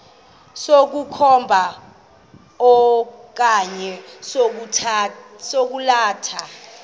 sokukhomba okanye sokwalatha